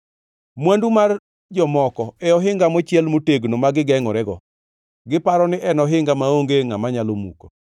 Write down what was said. Mwandu mar jomoko e ohinga mochiel motegno ma gigengʼorego, giparo ni en ohinga maonge ngʼama nyalo muko.